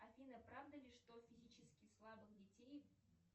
афина правда ли что физически слабых детей